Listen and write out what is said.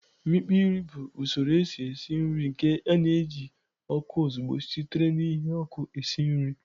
Imikpo nri bụ usoro esi esi nri nke na-eji ọkụ ozugbo sitere na ihe n'ọkụ esi nri